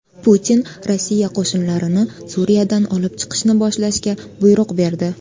Putin Rossiya qo‘shinlarini Suriyadan olib chiqishni boshlashga buyruq berdi.